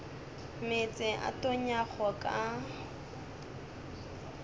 meetse a a tonyago ka